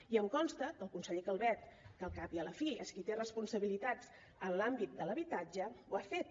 i em consta que el conseller calvet que al cap i a la fi és qui té responsabilitats en l’àmbit de l’habitatge ho ha fet